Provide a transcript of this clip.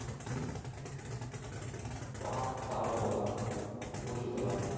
வா, சாப்பிட போலாம். ஊர் சுத்தலாம்.